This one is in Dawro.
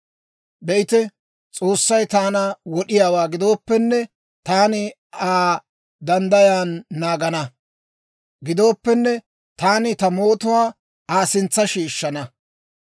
Be'ite, S'oossay taana wod'iyaawaa gidooppenne, taani Aa danddayan naagana. Gidooppenne, taani ta mootuwaa Aa sintsa shiishshana.